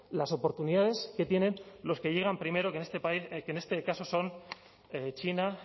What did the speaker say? las oportunidades que tienen los que llegan primero que en este caso son china